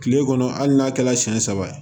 Kile kɔnɔ hali n'a kɛla siɲɛ saba ye